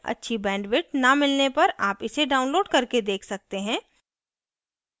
अच्छी bandwidth न मिलने पर आप इसे download करके देख सकते हैं